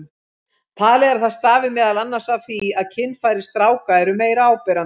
Talið er að það stafi meðal annars af því að kynfæri stráka eru meira áberandi.